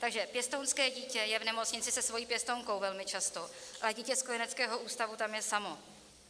Takže pěstounské dítě je v nemocnici se svou pěstounkou velmi často, ale dítě z kojeneckého ústavu tam je samo.